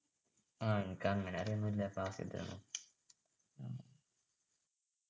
ആഹ് അനക്ക് അങ്ങനെ അറിയു ഒന്നും ഇല്ല പ്ലാസി യുദ്ധമൊന്നും